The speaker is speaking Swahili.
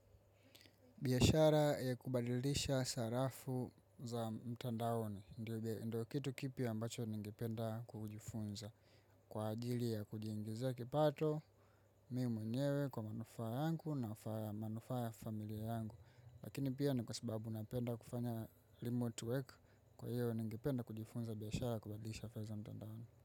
Biashara ya kubadilisha sarafu za mtandaoni, ndo kitu kipya ambacho ningependa kujifunza. Kwa ajili ya kujiingizia kipato, mimibmwenyewe kwa manufaa yangu na manufaa ya familia yangu. Lakini pia ni kwa sababu napenda kufanya remote work kwa hiyo ningependa kujifunza biashara ya kubadilisha fedha mtandaoni.